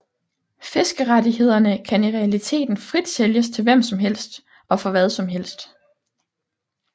Fiskerettighederne kan i realiteten frit sælges til hvem som helst og for hvad som helst